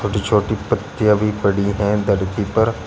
छोटी छोटी पत्तियां भी पड़ी है धरती पर।